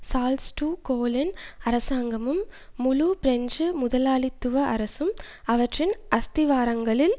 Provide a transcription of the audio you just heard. Charles de Gaulle அரசாங்கமும் முழு French முதலாளித்துவ அரசும் அவற்றின் அஸ்திவாரங்களில்